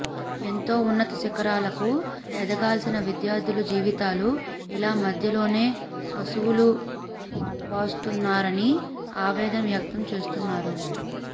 ఎంతో ఉన్నత శిఖరాలకు ఎదగాల్సిన విద్యార్థుల జీవితాలు ఇలా మధ్యలోనే అసువులు బాస్తున్నారని ఆవేదన వ్యక్తం చేస్తున్నారు